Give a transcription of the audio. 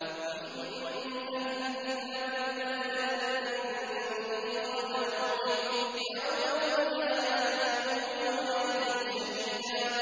وَإِن مِّنْ أَهْلِ الْكِتَابِ إِلَّا لَيُؤْمِنَنَّ بِهِ قَبْلَ مَوْتِهِ ۖ وَيَوْمَ الْقِيَامَةِ يَكُونُ عَلَيْهِمْ شَهِيدًا